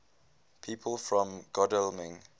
people from godalming